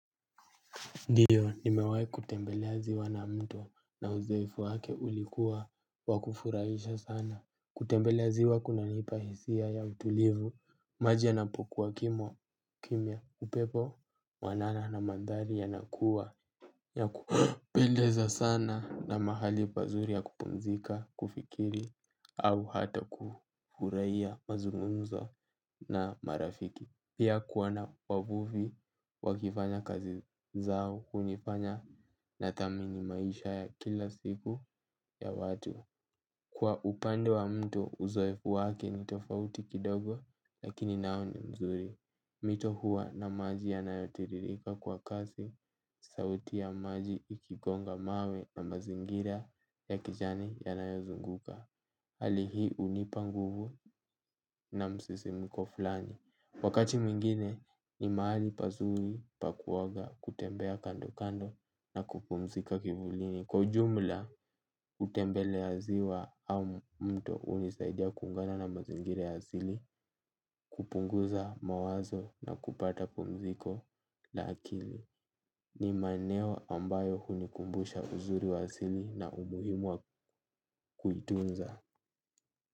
Ndiyo, nimewai kutembelea ziwa na mto na uzoefu wake ulikuwa wa kufurahisha sana. Kutembelea ziwa kunanipa hisia ya utulivu, maji yanapokuwa kimo, kimia, upepo, mwanana na mandhari yanakua, ya kupendeza sana na mahali pazuri ya kupunzika, kufikiri, au hata kufurahia mazungunzo na marafiki. Pia kuwona wavufi wakifanya kazi zao kunifanya natamini maisha ya kila siku ya watu. Kwa upande wa mtu uzoefu wake ni tofauti kidogo lakini nao ni mzuri. Mito huwa na maji yanayotiririka kwa kazi sauti ya maji ikigonga mawe na mazingira ya kijani yanayozunguka. Hali hi unipa nguvu na msisimiko flani. Wakati mingine ni maali pazuri pakuwaga kutembea kando kando na kupumzika kivulini. Kwa ujumla utembeleya ziwa au mto unisaidia kungana na mazingira ya azili kupunguza mawazo na kupata pumziko. La akili ni maneno ambayo unikumbusha uzuri wa azili na umuhimu wa kuitunza.